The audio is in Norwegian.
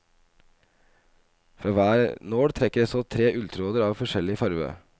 Fra hver nål trekker jeg så tre ulltråder av forskjellig farve.